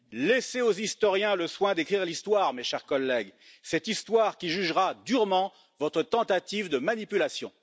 Laissez aux historiens le soin d'écrire l'histoire, mes chers collègues, cette histoire qui jugera durement votre tentative de manipulation.